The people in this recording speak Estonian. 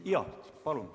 Jaa, palun!